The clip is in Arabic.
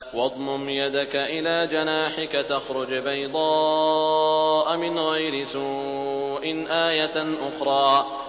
وَاضْمُمْ يَدَكَ إِلَىٰ جَنَاحِكَ تَخْرُجْ بَيْضَاءَ مِنْ غَيْرِ سُوءٍ آيَةً أُخْرَىٰ